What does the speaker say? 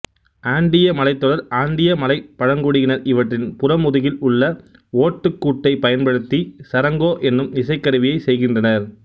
ஆண்டீய மலைத்தொடர்ஆண்டீய மலைப் பழங்குடியினர் இவற்றின் புறமுதுகில் உள்ள ஓட்டுக்கூட்டைப் பயன்படுத்திச் சரங்கோ எனும் இசைக்கருவியைச் செய்கின்றனர்